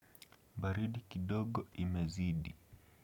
Baridi kidogo imezidi.